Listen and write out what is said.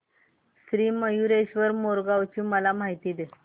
श्री मयूरेश्वर मोरगाव ची मला माहिती दे